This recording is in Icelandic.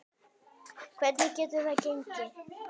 Hvernig getur það gengi?